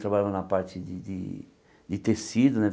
Trabalhava na parte de de de tecido né.